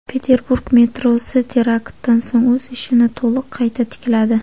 Peterburg metrosi teraktdan so‘ng o‘z ishini to‘liq qayta tikladi.